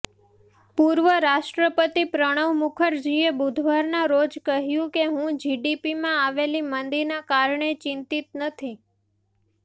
પૂર્વ રાષ્ટ્રપતિ પ્રણવ મુખરજીએ બુધવારના રોજ કહ્યું કે હું જીડીપીમાં આવેલી મંદીના કારણે ચિંતિત નથી